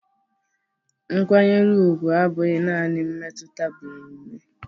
Nkwanyere ugwu abụghị naanị mmetụta bụ omume